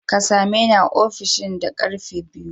Ka same ni a ofishin da ƙarfe biyu!